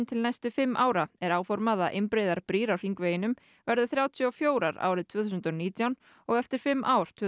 til næstu fimm ára er áformað að einbreiðar brýr á hringveginum verði þrjátíu og fjögur árið tvö þúsund og nítján og eftir fimm ár tvö